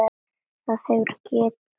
Það hefur gefið út